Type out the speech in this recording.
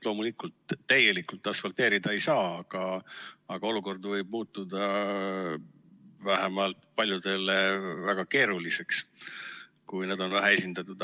Loomulikult, täielikult asfalteerida ei saa, aga olukord võib muutuda vähemalt paljudele väga keeruliseks, kui nad on vähe esindatud.